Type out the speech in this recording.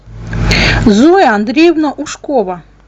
зоя андреевна ушкова